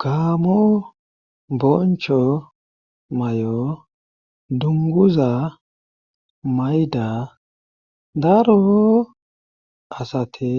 Gamo boncho may7o dunguza mayda darooo asati